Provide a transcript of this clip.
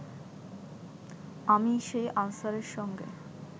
আমি সেই আনসারের সঙ্গে